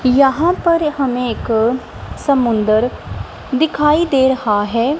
यहां पर हमें एक समुंदर दिखाई दे रहा है।